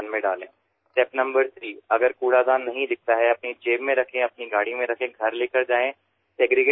পৰ্যায় ৩ যদি ওচৰেপাজৰে কোনো জাৱৰৰ পাত্ৰ দেখা নাই তেন্তে সেয়া নিজৰ পকেটত ৰাখক অথবা গাড়ীত নিজৰ ঘৰলৈ লৈ যাওক